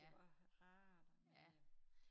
Det var rart og med